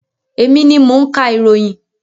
Emi ni mo ń ka ìròyìn.